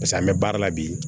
pase an be baara la bi